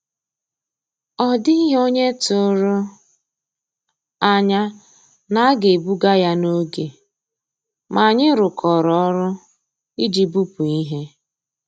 Ọ́ dị́ghị́ ónyé tụ̀rụ̀ ànyá ná á gà-èbùgà yá n'ògé, mà ànyị́ rụ́kọ̀rọ́ ọ́rụ́ ìjì bùpú íhé.